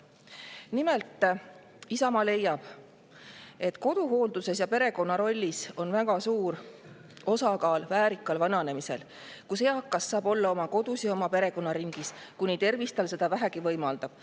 Nimelt, Isamaa leiab koduhooldusest ja perekonna rollist rääkides, et väärika vananemise puhul on väga suur osakaal sellel, et eakas saaks olla oma kodus ja perekonnaringis, kuni tervis seda vähegi võimaldab.